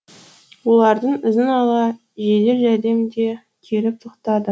олардың ізін ала жедел жәрдем де келіп тоқтады